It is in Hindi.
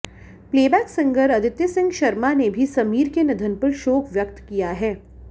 प्लेबैक सिंगर अदिती सिंह शर्मा ने भी समीर के निधन पर शोक व्यक्त किया है